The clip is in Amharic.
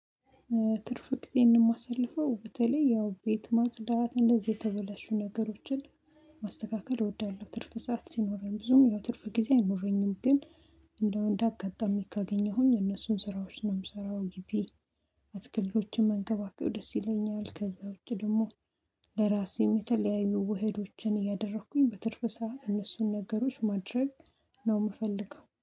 ትርፍ ጊዜዬን እማሳልፈው በተለይ ያው ቤት ማጽዳት፣ እንደዚህ የተበላሹ ነገሮችን ማስተካከል እወዳለሁ ትርፍ ሰዓት ሲኖረኝ ብዙም ያው ትርፍ ጊዜ አይኖረኝም ግን እንደው እንዳጋጠመኝ ካገኘሁኝ እነሱን ስራዎች ነው የምሰራው ግቢ አትክልቶችን መንከባከብ ደስ ይለኛል ከዛ ውጪ ደግሞ ለራሴም የተለያይኑ ውህዶችን እያደረኩኝ በትርፍ ሰዓት እነሱን ነገሮች ማድረግ ነው የምፈልገው።